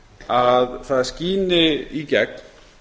að það sín í gegn